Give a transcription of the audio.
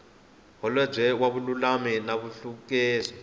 holobye wa vululami na nhluvukiso